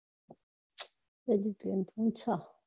આવું